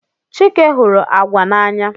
Chike hụrụ agwa n'anya.